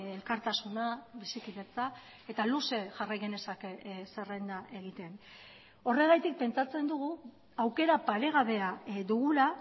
elkartasuna bizikidetza eta luze jarrai genezake zerrenda egiten horregatik pentsatzen dugu aukera paregabea dugula